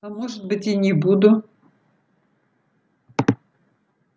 а может быть и не буду